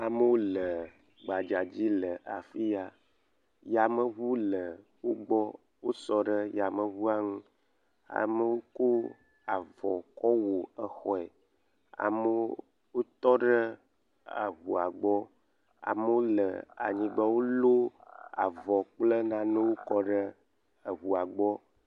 Amewo le gbadza dzi le afi ya, yameŋu le wo gbɔ wo sɔ ɖe yameŋua ŋu, amewo ko avɔ kɔwɔ exɔe, amewo tɔ ɖe eŋua gbɔ amewo le anyigba, wolɔ avɔwo kple nanewo kɔ ɖe eŋua gbɔ.